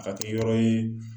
A ka kɛ yɔrɔ ye